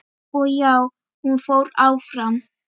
Og já, hún fór áfram!!